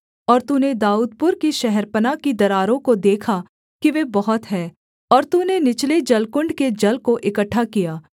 और तूने दाऊदपुर की शहरपनाह की दरारों को देखा कि वे बहुत हैं और तूने निचले जलकुण्ड के जल को इकट्ठा किया